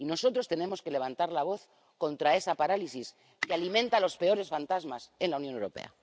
Y nosotros tenemos que levantar la voz contra esa parálisis que alimenta los peores fantasmas en la Unión Europea.